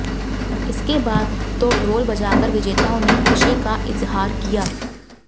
इसके बाद तो ढोल बजाकर विजेताओं ने खुशी का इजहार किया